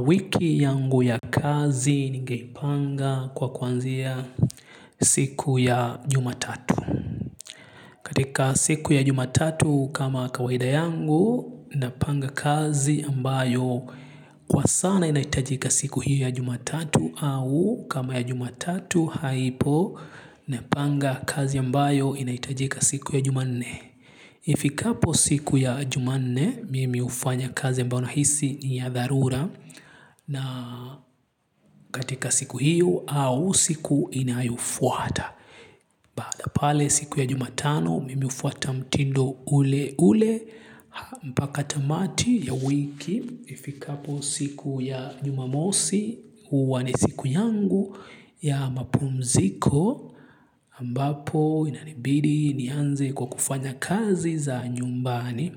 Wiki yangu ya kazi ningeipanga kwa kuanzia siku ya jumatatu. Katika siku ya jumatatu kama kawaida yangu napanga kazi ambayo kwa sana inahitajika siku hiyo ya jumatatu au kama ya jumatatu haipo napanga kazi ambayo inahitajika siku ya jumanne. Ifikapo siku ya jumanne mimi hufanya kazi ambayo nahisi ni ya dharura na katika siku hiyo au siku inayofuata. Baada ya pale siku ya jumatano mimi hufuata mtindo ule ule mpaka tamati ya wiki ifikapo siku ya jumamosi huwa ni siku yangu ya mapumziko ambapo inanibidi nianze kwa kufanya kazi za nyumbani.